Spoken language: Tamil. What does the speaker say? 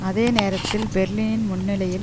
அதே நேரத்தில் பெர்லினில் முன்னணியில்